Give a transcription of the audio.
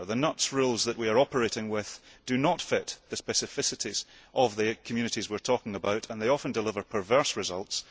The rules that we are operating with do not fit the specificities of the communities we are talking about and they often deliver perverse results.